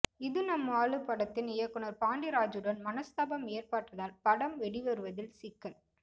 இது நம்ம ஆளு படத்தின் இயக்குனர் பாண்டிராஜுடன் மனஸ்தாபம் ஏற்பட்டதால் படம் வெளிவருவதில் சிக்கல்